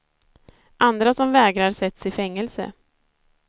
Andra som vägrar sätts i fängelse.